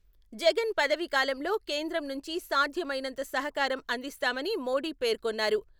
జగన్ పదవీ కాలంలో కేంద్రం నుంచి సాధ్యమైనంత సహకారం అందిస్తామని మోడీ పేర్కొన్నారు.